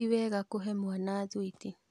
Ti wega kũhe mwana thwiti